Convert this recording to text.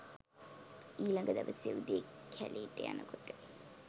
ඊලග දවසේ උදේ කැලෙට යනකොට